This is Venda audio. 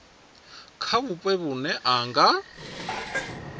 kha vhupo vhune ha nga